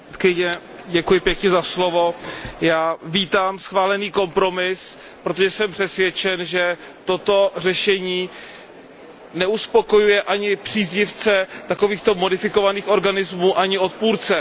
Paní předsedající, já vítám schválený kompromis, protože jsem přesvědčen, že toto řešení neuspokojuje ani příznivce takovýchto modifikovaných organismů, ani odpůrce.